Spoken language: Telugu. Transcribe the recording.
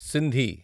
సింధి